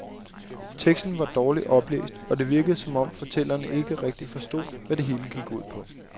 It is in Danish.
Teksten var dårligt oplæst og det virkede som om, fortælleren ikke rigtigt forstod, hvad det hele gik ud på.